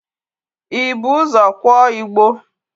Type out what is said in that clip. Ị bu ụzọ kwọọ igbo?